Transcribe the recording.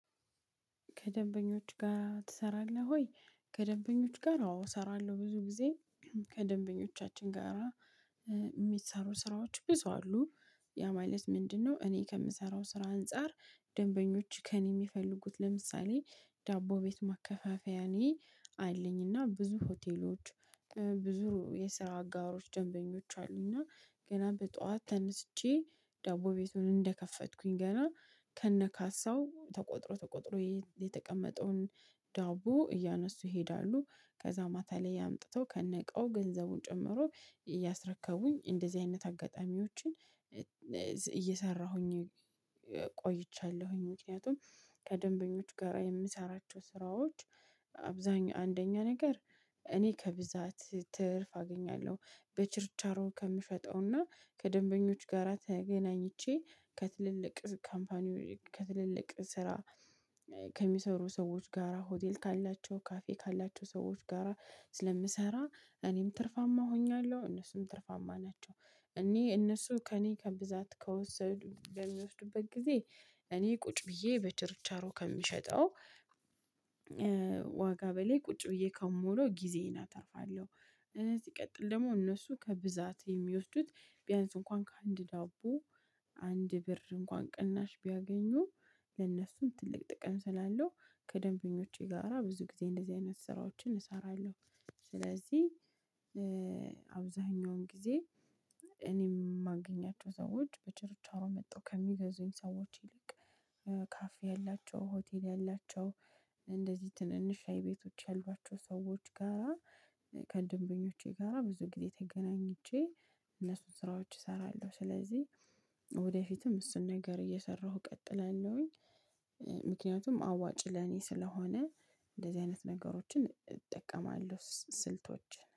ከደንበኞች ጋር ትሰራለህ ወይ? ከደንበኞች ጋር አዎ እሰራለሁ ብዙ ጊዜ ከደንበኞቻችን ጋራ ሚሰሩ ስራዎች ብዙ አሉ ያ ማለት ምንድነው እኔ ከምሰራው ስራ አንፃር። ደንበኞች ከእኔ የሚፈልጉት ለምሳሌ ዳቦ ቤት ማከፋፈያ እኔ አለኝና ብዙ ሆቴሎች ብዙ የስራ አጋሮች ደንበኞች አሉኝና። ገና በጠዋት ተነስቼ ዳቦ ቤቱን እንደከፈትኩኝ ገና ከእነ ካሳው ተቆጥሮ ተቆጥሮ የተቀመጠውን ዳቦ እያነሱ ይሄዳሉ ከዚያ ማታ ላይ አምጥተው ከእነ እቃው ገንዘቡን ጨምሮ እያስረከቡኝ እንደዚህ አይነት አጋጣሚዎችን። እየሰራሁኝ ቆይቻለሁ። ምክንያቱም ከደንበኞች ጋራ የምሰራቸው ስራዎች አብዛኛው አንደኛ ነገር እኔ ከብዛት ትርፍ አገኛለሁ። በችርቻሮ ከምሸጠውና ከደንበኞች ጋራ ተገናኝቼ ከትልልቅ ካምፓኒዎች ከትልልቅ ስራ ከሚሰሩ ሰዎች ጋራ ሆቴል ካላቸው ካፌ ካላቸው ሰዎች ጋራ ስለምሰራ እኔም ትርፋማ ሆኛለሁ እነሱም ትርፋማ ናቸው። እኔ እነሱ ከእኔ ከብዛት ከወሰዱ በሚወስዱበት ጊዜ እኔ ቁጭ ብዬ በተርቻሮ ከምሸጠው ዋጋ በላይ ቁጭ ብዬ ከምዉለው ጊዜዬን አተርፋለሁ። ሲቀጥል ደግሞ እነሱ ከብዛት የሚወስዱት ቢያንስ እንኳን ከአንድ ዳቦ አንድ ብር እንኳን ቅናሽ ቢያገኙ ለነሱም ትልቅ ጥቅም ስላለው ከደንበኞቼ ጋራ ብዙ ጊዜ እንደዚህ አይነት ስራዎችን እሰራለሁ። ስለዚህ አብዛኛውን ጊዜ እኔም የማገኛቸው ሰዎች በቸርቻሮ መጠው ከሚገዙኝ ሰዎች ይልቅ ካፌ ያላቸው ሆቴል ያላቸው እንደዚህ ትንንሽ ሻይ ቤቶች ያሏቸው ሰዎች ጋራ ከድንበኞቼ ጋራ ብዙ ጊዜ ተገናኝቼ እነሱን ስራዎች እሰራለሁ ስለዚህ ወደፊትም እሱን ነገር እየሰራሁ እቀጥላለሁ። ምክንያቱም አዋጪ ለእኔ ስለሆነ እንደዚህ አይነት ነገሮችን እጠቀማለሁ ስልቶችን